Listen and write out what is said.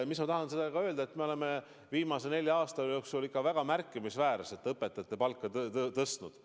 Ma tahan öelda, et me oleme viimase nelja aasta jooksul ikka väga märkimisväärselt õpetajate palka tõstnud.